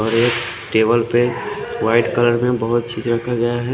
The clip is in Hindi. और एक टेबल पे वाइट कलर में बोहोत चीज रखा गया है।